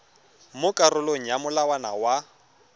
mo karolong ya molawana wa